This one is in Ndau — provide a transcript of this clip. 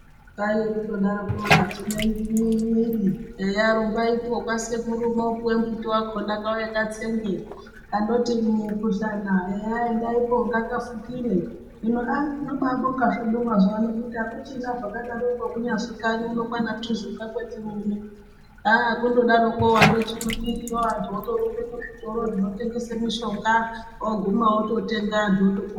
Kwaiye kundodarokwo kadziya mwiiri eya rumbaipo kwasekuru mopuwe mbuti wakona kauye katsenge kandoti mukuhlani eya endaipo ngakafukire hino aa tinobaabonga zvedu mazuvaano kuti akuchina zvakadaroko kunyazi kanyi uno kwaana Tuzuka kwetiri uno haa kundodaroko wandopisha mwiiri antu otorumbe kuzvitoro zvinotengesa mishonga oguma ototenga antu otopora.